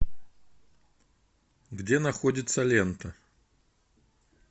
где находится лента